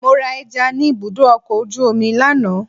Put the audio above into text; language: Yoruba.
Mo ra ẹja ni ibùdó ọkọ̀ ojú omi lánàá.